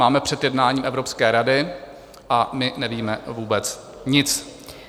Máme před jednáním Evropské rady a my nevíme vůbec nic.